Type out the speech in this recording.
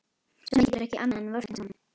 Svenni getur ekki annað en vorkennt honum.